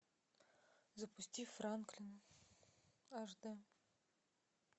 запусти франклин аш дэ